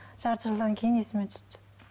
жарты жылдан кейін есіме түсті